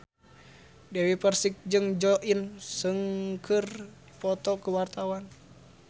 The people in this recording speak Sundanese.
Dewi Persik jeung Jo In Sung keur dipoto ku wartawan